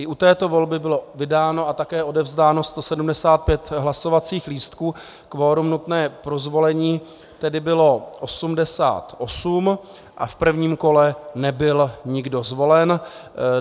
I u této volby bylo vydáno a také odevzdáno 175 hlasovacích lístků, kvorum nutné pro zvolení tedy bylo 88 a v prvním kole nebyl nikdo zvolen.